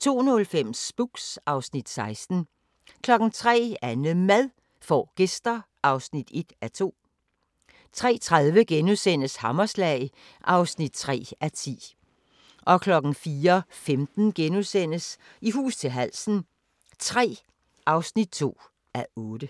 02:05: Spooks (Afs. 16) 03:00: AnneMad får gæster (1:2) 03:30: Hammerslag (3:10)* 04:15: I hus til halsen III (2:8)*